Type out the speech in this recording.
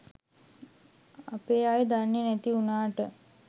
අපේ අය දන්නෙ නැති උනාට